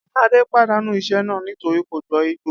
Adé padànú isé̩ náà nítorí kò gbó̩ Ìgbò